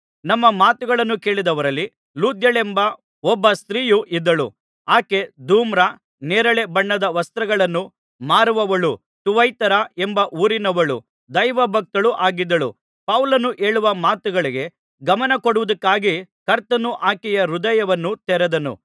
ನಮ್ಮ ಮಾತುಗಳನ್ನು ಕೇಳಿದವರಲ್ಲಿ ಲುದ್ಯಳೆಂಬ ಒಬ್ಬ ಸ್ತ್ರೀಯು ಇದ್ದಳು ಆಕೆ ಧೂಮ್ರ ನೇರಳೆ ಬಣ್ಣದ ವಸ್ತ್ರಗಳನ್ನು ಮಾರುವವಳೂ ಥುವತೈರ ಎಂಬ ಊರಿನವಳೂ ದೈವಭಕ್ತಳೂ ಆಗಿದ್ದಳು ಪೌಲನು ಹೇಳುವ ಮಾತುಗಳಿಗೆ ಗಮನಕೊಡುವುದಕ್ಕಾಗಿ ಕರ್ತನು ಆಕೆಯ ಹೃದಯವನ್ನು ತೆರೆದನು